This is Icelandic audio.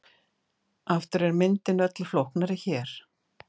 Aftur er myndin öllu flóknari hér.